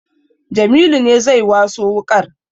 Jamilu ne zai waso wuƙar